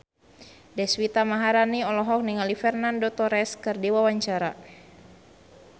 Deswita Maharani olohok ningali Fernando Torres keur diwawancara